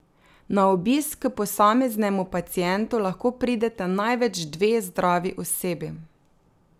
Na obisk k posameznemu pacientu lahko prideta največ dve zdravi osebi.